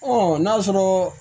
n'a sɔrɔ